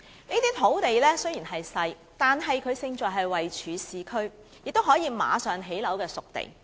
這些土地雖然細小，但是勝在位處市區，是可以立即興建樓宇的"熟地"。